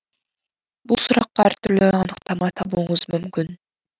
бұл сұраққа әр түрлі анықтама табуыңыз мүмкін